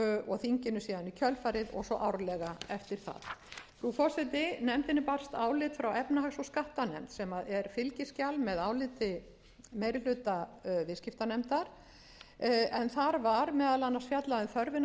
og þinginu síðan í kjölfarið og svo árlega eftir það frú forseti nefndinni barst álit frá efnahags og skattanefnd sem er fylgiskjal með áliti meiri hluta viðskiptanefndar en þar var meðal annars fjallað um þörfina fyrir að